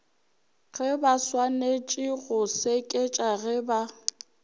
gebaswanetše go seketša ge ba